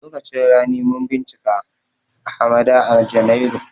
Lokacin rani mun bincika hamada a janairu